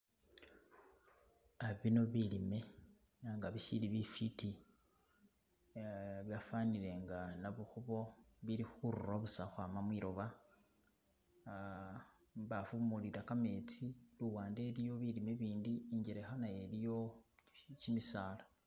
Ah bino bilime ela nga bisili bifiti ah byafanile nga nabukhubo bili khurura busa ukhwama busa mwiloba ah mubaafu mulila kametsi luwande iliyo bilime ibindi Ingelekha naye iliyo kimisala.